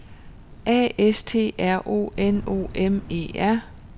A S T R O N O M E R